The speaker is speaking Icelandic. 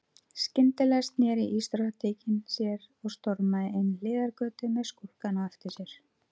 Skyndilega sneri ísdrottningin sér og stormaði inn hliðargötu með skúrkana á eftir sér.